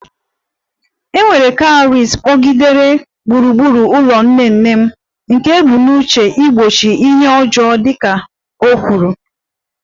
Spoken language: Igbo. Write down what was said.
E nwere cowries kpọgidere gburugburu ụlọ nne nne m, nke e bu n'uche igbochi ihe ọjọọ dị ka o kwuru